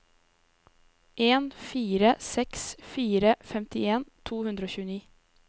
en fire seks fire femtien to hundre og tjueni